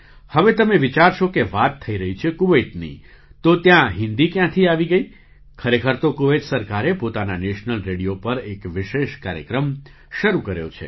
હવે તમે વિચારશો કે વાત થઈ રહી છે કુવૈતની તો ત્યાં હિન્દી ક્યાંથી આવી ગઈ ખરેખર તો કુવૈત સરકારે પોતાના નેશનલ રેડિયો પર એક વિશેષ કાર્યક્રમ શરૂ કર્યો છે